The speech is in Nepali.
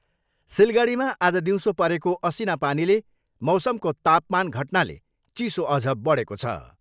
सिलगढीमा आज दिउँसो परेको असिना पानीले मौसमको तापमान घटनाले चिसो अझ बढेको छ।